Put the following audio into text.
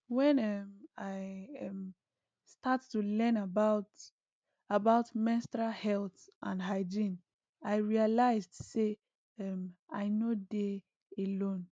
when um i um start to learn about about menstrual health and hygiene i realized say um i nor dey alone